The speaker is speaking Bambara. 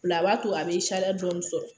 Bila b'a a b'a to a bɛ dɔɔnin sɔrɔ